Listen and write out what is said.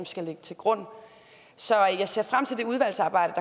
skal ligge til grund så jeg ser frem til det udvalgsarbejde